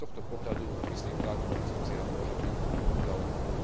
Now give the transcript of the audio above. Z tohto pohľadu, myslím, táto koncepcia môže byť zaujímavá.